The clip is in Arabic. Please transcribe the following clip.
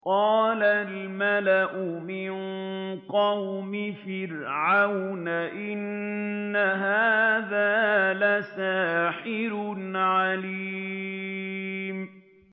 قَالَ الْمَلَأُ مِن قَوْمِ فِرْعَوْنَ إِنَّ هَٰذَا لَسَاحِرٌ عَلِيمٌ